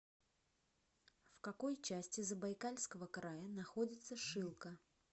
в какой части забайкальского края находится шилка